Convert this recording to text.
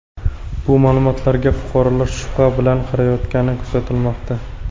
Bu ma’lumotlarga fuqarolar shubha bilan qarayotgani kuzatilmoqda.